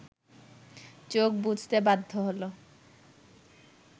চোখ বুজতে বাধ্য হলো